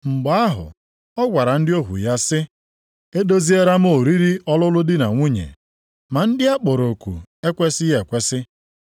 “Mgbe ahụ ọ gwara ndị ohu ya sị, ‘E doziela m oriri ọlụlụ di na nwunye, ma ndị a kpọrọ oku ekwesighị ekwesi.